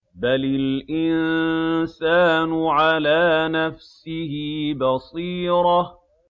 بَلِ الْإِنسَانُ عَلَىٰ نَفْسِهِ بَصِيرَةٌ